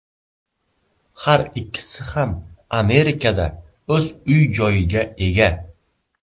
Har ikkisi ham Amerikada o‘z uy-joyiga ega.